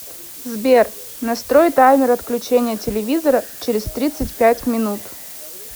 сбер настрой таймер отключения телевизора через тридцать пять минут